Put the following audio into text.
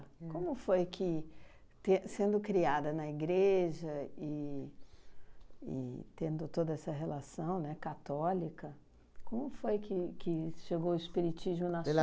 Como foi que, ter sendo criada na igreja e e tendo toda essa relação, né, católica, como foi que que chegou o espiritismo na